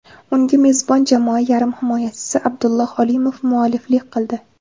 Unga mezbon jamoa yarim himoyachisi Abdulloh Olimov mualliflik qildi.